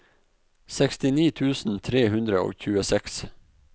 sekstini tusen tre hundre og tjueseks